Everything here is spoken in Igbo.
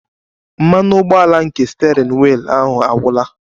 Mmanụ ụgbọala nke steering wheel ahụ agwụla